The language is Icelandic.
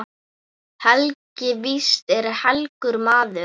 Helgi víst er helgur maður.